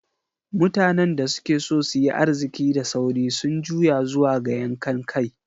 Mutanen da suke so su yi arziki da sauri sun juya zuwa ga yankan kai.